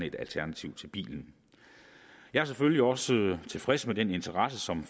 et alternativ til bilen jeg er selvfølgelig også tilfreds med den interesse som